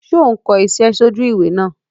Sé o n ko isé sójú ìwé náà